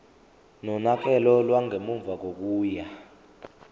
nonakekelo lwangemuva kokuya